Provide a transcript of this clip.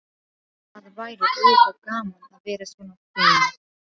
Það væri auðvitað gaman að vera svona fim.